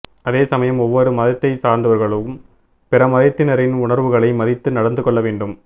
அதேசமயம் ஒவ்வொரு மதத்தை சார்ந்தவர்களும் பிறமதத்தினரின் உணர்வுகளை மதித்து நடந்துகொள்ள வேண்டும்